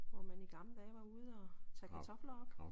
Hvor man i gamle dage var ude og tage kartofler op